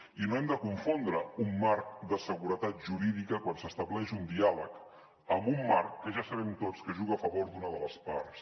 i no hem de confondre un marc de seguretat jurídica quan s’estableix un diàleg amb un marc que ja sabem tots que juga a favor d’una de les parts